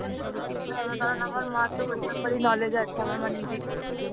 কারণ আমার মা তো ওই ব্যাপারেই knowledge আছে. আমার মা নিজেই করছে.